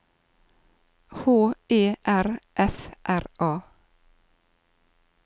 H E R F R A